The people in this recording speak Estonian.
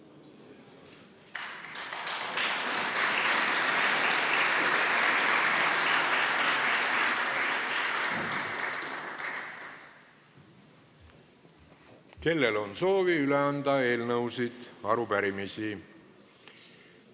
Kellel on soovi üle anda eelnõusid ja arupärimisi?